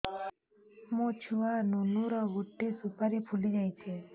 ମୋ ଛୁଆ ନୁନୁ ର ଗଟେ ସୁପାରୀ ଫୁଲି ଯାଇଛି